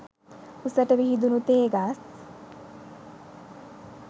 උසට විහිදුණු තේ ගස්